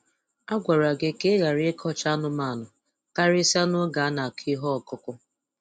A gwara gị ka ị ghara ịkọcha anụmanụ, karịsịa n'oge a na-akụ ihe ọkụkụ.